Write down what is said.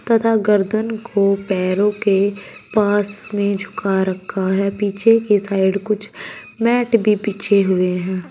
तथा गर्दन को पैरों के पास में झुका रखा है पीछे के साइड कुछ मैट भी बिछे हुए हैं।